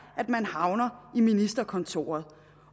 at man havner i ministerkontoret